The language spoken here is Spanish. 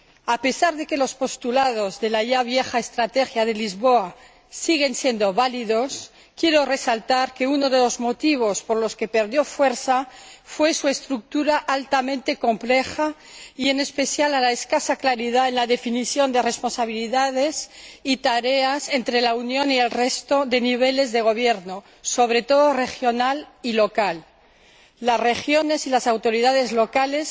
A pesar de que los postulados de la ya vieja Estrategia de Lisboa siguen siendo válidos, quiero resaltar que uno de los motivos por los que perdió fuerza fue su estructura altamente compleja y, en especial, la escasa claridad en la definición de responsabilidades y tareas entre la Unión y el resto de niveles de gobierno, sobre todo regional y local. Las regiones y las autoridades locales